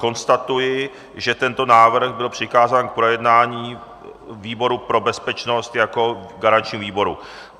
Konstatuji, že tento návrh byl přikázán k projednání výboru pro bezpečnost jako garančnímu výboru.